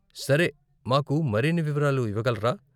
సరే, మాకు మరిన్ని వివరాలు ఇవ్వగలరా ?